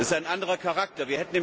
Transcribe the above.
Das ist ein anderer Charakter.